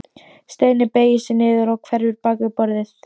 Steini beygir sig niður og hverfur bak við borðið.